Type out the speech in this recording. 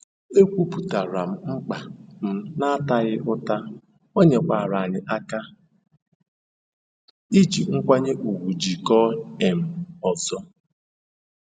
Ekwupụtaara m mkpa m n'ataghị ụta, ọ nyekwara anyị aka iji nkwanye ùgwù jikọọ um ọzọ.